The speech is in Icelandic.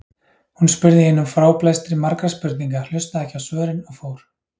Hún spurði í einum fráblæstri margra spurninga, hlustaði ekki á svörin og fór.